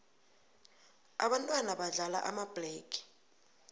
ababntwana badlala amabhlege